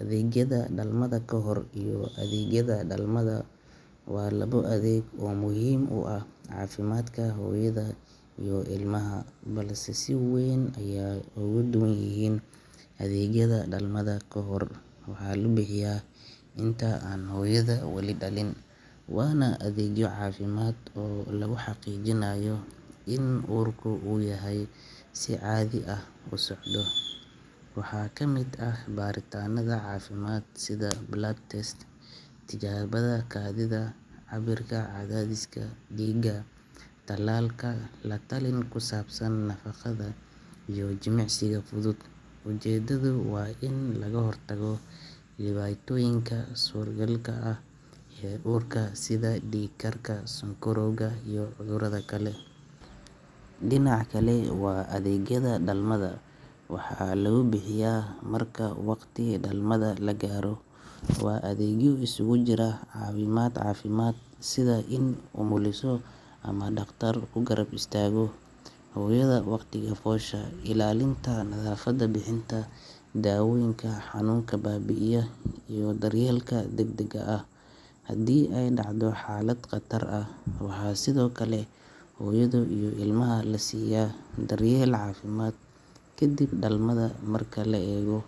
Rugaha dhalmada kahor ee hooyada uurka leh waa xarumo caafimaad oo aad muhiim u ah, waxayna door weyn ka ciyaaraan daryeelka hooyada iyo ilmaha uurjiifka ah inta lagu jiro muddada uurka. Marka hooyadu ay si joogto ah u booqato rugahaasi, waxaa la hubiyaa caafimaadkeeda guud, laga tijaabiyaa dhiigga, kaadida, cadaadiska dhiigga iyo miisaanka si looga hortago dhibaatooyinka suuragalka ah sida dhiig-karka, sonkorowga uurka iyo dhiig-baxa dhalmada ka hor. Sidoo kale waxaa lagu siiya tallooyin iyo wacyigelin ku saabsan nafaqada saxda ah, jimicsiga fudud, iyo isticmaalka iron supplements si looga hortago dhiig-yarida. Rugaha dhalmada kahor waxay kaloo bixiyaan adeegyo tallaal ah oo ka caawiya hooyada iyo uurjiifka in ay ka badbaadaan cudurada faafa. Waxaa sidoo kale lagu ogaadaa haddii ilmaha uu ku jiro xaalad aan caadi ahayn iyadoo la adeegsanayo ultrasound iyo baaritaano kale. Tani waxay fursad u siisaa caafimaadka in la sameeyo qorshe ku habboon dhalmada. Marka hooyo